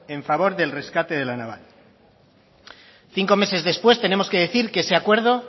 en favor del rescate de la naval cinco meses después tenemos que decir que ese acuerdo